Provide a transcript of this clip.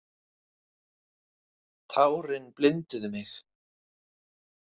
Tárin blinduðu mig.